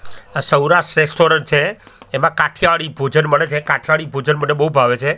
આ સૌરાષ્ટ્ર રેસ્ટોરન્ટ છે એમા કાઠિયાવાડી ભોજન મળે છે કાઠિયાવાડી ભોજન મને બો ભાવે છે.